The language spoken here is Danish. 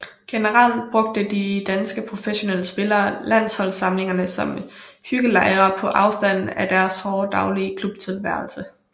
Generelt brugte de danske professionelle spillere landsholdssamlingerne som hyggelejre på afstand af deres hårde daglige klubtilværelse